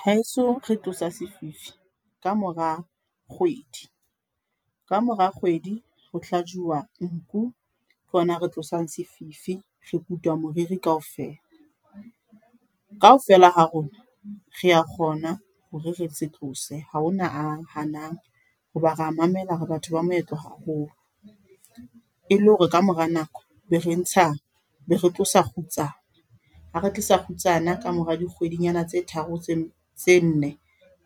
Ha heso re tlosa sefifi ka mora kgwedi, ka mora kgwedi ho hlajuwa nku ke hona re tlosang sefifi, re kutwa moriri kaofela. Kaofela ha rona re ya kgona hore re se tlose ha hona a hanang ho ba re ya mamela hore batho ba moetlo haholo. E le hore ka mora nako be re ntsha be re tlosa kgutsana ha re tlosa kgutsana ka mora di kgwedinyana tse tharo tse nne